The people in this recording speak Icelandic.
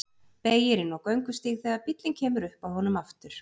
Beygir inn á göngustíg þegar bíllinn kemur upp að honum aftur.